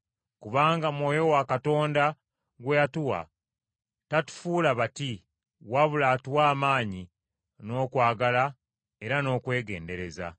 Kubanga Mwoyo wa Katonda, gwe yatuwa tatufuula bati, wabula atuwa amaanyi, n’okwagala era n’okwegendereza.